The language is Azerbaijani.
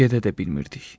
Gedə də bilmirdik.